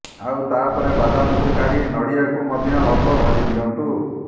ଆଉ ତାପରେ ବାଦାମକୁ କାଢି ନଡ଼ିଆକୁ ମଧ୍ୟ ଅଳ୍ପ ଭାଜିଦିଅନ୍ତୁ